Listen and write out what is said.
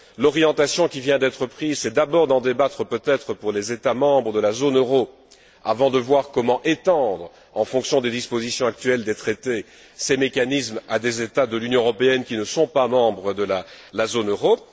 L'orientation qui vient d'être prise c'est d'abord d'en débattre peut être pour les États membres de la zone euro avant de voir comment étendre, en fonction des dispositions actuelles des traités, ces mécanismes à des États de l'Union européenne qui ne sont pas membres de la zone euro.